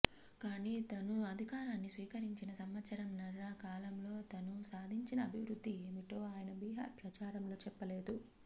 కాని తను అధికారాన్ని స్వీకరించిన సంవత్సరంన్నర కాలంలో తను సాధించిన అభివృద్ధి ఏమిటో ఆయన బిహార్ ప్రచారంలో చెప్పలేదు